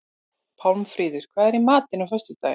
Pálmfríður, hvað er í matinn á föstudaginn?